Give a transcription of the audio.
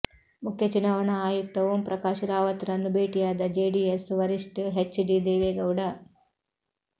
ಮುಖ್ಯ ಚುನಾವಣಾ ಆಯುಕ್ತ ಓಂ ಪ್ರಕಾಶ್ ರಾವತ್ ರನ್ನು ಭೇಟಿಯಾದ ಜೆಡಿಎಸ್ ವರಿಷ್ಠ್ ಹೆಚ್ ಡಿ ದೇವೇಗೌಡ